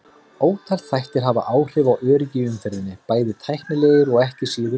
Ótal þættir hafa áhrif á öryggi í umferðinni, bæði tæknilegir og ekki síður mannlegir.